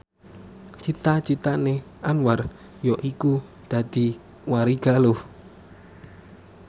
cita citane Anwar yaiku dadi warigaluh